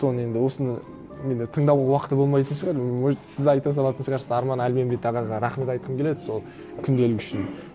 соны енді осыны мені де тыңдауға уақыты да болмайтын шығар может сіз айта салатын шығарсыз арман әлменбет ағаға рахмет айтқым келеді сол күнделігі үшін